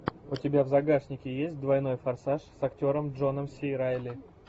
у тебя в загашнике есть двойной форсаж с актером джоном си райли